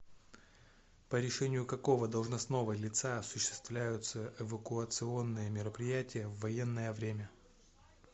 по решению какого должностного лица осуществляются эвакуационные мероприятия в военное время